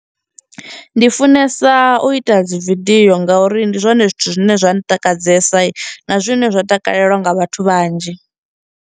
Ndi funesa u ita dzi video ngauri ndi zwone zwithu zwine zwa ntakadzesa, na zwine zwa takalelwa nga vhathu vhanzhi.